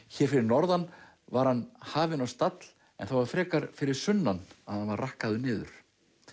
hér fyrir norðan var hann hafinn á stall en það var frekar fyrir sunnan að hann var rakkaður niður